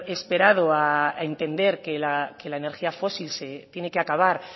esperado a entender que la energía fósil se tiene que acabar